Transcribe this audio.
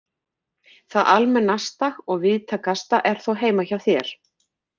Það almennasta og víðtækasta er þó: Heima hjá þér.